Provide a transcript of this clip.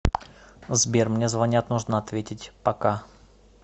сбер мне звонят нужно ответить пока